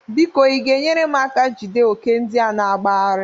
Biko ị ga-enyere m aka jide ókè ndịa na-agbagharị?